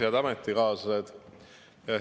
Head ametikaaslased!